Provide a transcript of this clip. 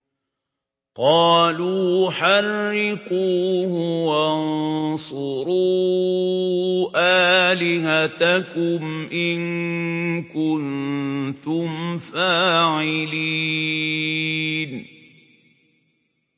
قَالُوا حَرِّقُوهُ وَانصُرُوا آلِهَتَكُمْ إِن كُنتُمْ فَاعِلِينَ